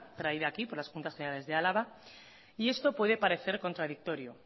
traída aquí por la juntas generales de álava y esto puede parecer contradictorio